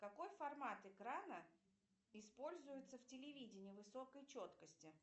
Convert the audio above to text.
какой формат экрана используется в телевидении высокой четкости